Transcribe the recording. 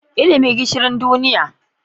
Ilimi Gishiri duniya.